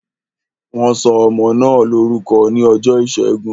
Wọn sọ ọmọ náà lórúkọ ní ọjọ́ ìṣẹ́gun